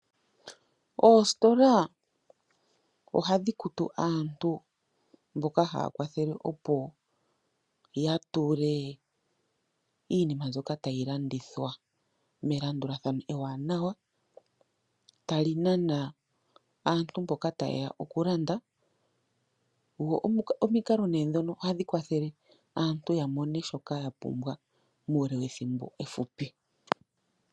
Oostola ohadhi kutu aantu mboka haya kwathele opo ya tule iinima mbyoka tayi landithwa melandulathano ewanawa tali nana aantu mboka taye ya oku landa, dho omikalo ne dhoka ohadhi kwathele aantu ya mone shoka yapumbwa muule wethimbo ehupi.